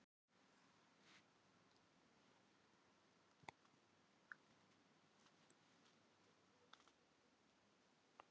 Ég hef engar áhyggjur af þér, elskan mín.